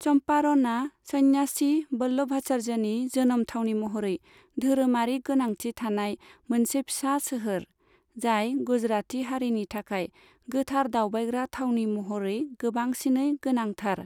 चम्पारणआ सन्यासि वल्लभाचार्यनि जोनोम थावनि महरै धोरोमारि गोनांथि थानाय मोनसे फिसा सोहोर, जाय गुजराती हारिनि थाखाय गोथार दावबायग्रा थावनि महरै गोबांसिनै गोनांथार।